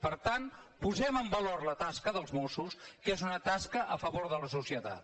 per tant posem en valor la tasca dels mossos que és una tasca a favor de la societat